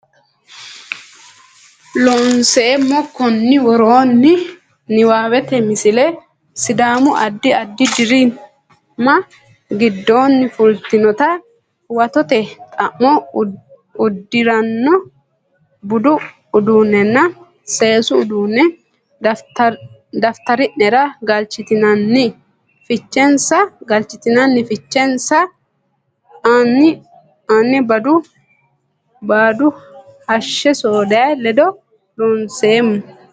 Loonseemmo konni woroonni niwaawete Misile Sidaamu addi addi deerri manni giddonni fultinota huwatote xa mo uddi ranno budu uddaannanna seesu uduunne daftari nera galchidhineenna fichensa ane Baadu hashshe soodayya ledo loonseemmo.